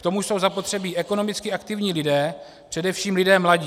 K tomu jsou zapotřebí ekonomicky aktivní lidé, především lidé mladí.